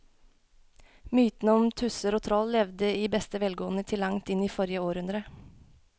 Mytene om tusser og troll levde i beste velgående til langt inn i forrige århundre.